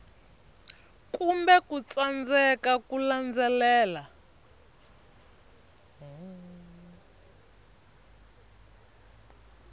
kumbe ku tsandzeka ku landzelela